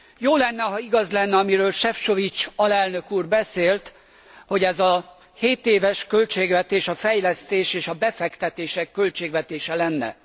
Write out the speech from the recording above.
Jó lenne, ha igaz lenne, amiről Sefcovic alelnök úr beszélt, hogy ez a hétéves költségvetés a fejlesztés és a befektetések költségvetése lenne.